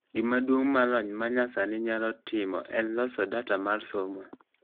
gima duong ma lony manyasani nyalo timo en loso data mar somo